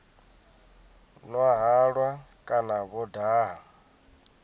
nwa halwa kana vho daha